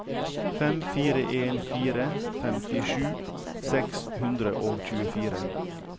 fem fire en fire femtisju seks hundre og tjuefire